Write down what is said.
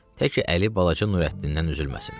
Təki əli balaca Nurəddindən üzülməsin.